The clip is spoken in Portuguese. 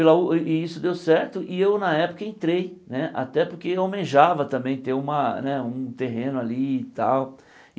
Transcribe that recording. Pela o i isso deu certo e eu na época entrei né, até porque eu almejava também ter uma né um terreno ali e tal.